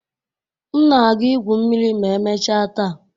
M na-aga igwu mmiri ma emechaa taa.